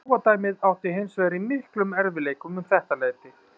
Páfadæmið átti hins vegar í miklum erfiðleikum um þetta leyti.